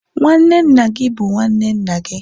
nwanne nna gị bụ nwanne nna gị